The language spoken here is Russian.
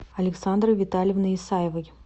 александрой витальевной исаевой